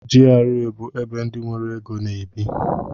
GRA bụ ebe ndị nwere égo na-ebi.